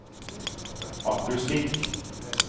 akustikk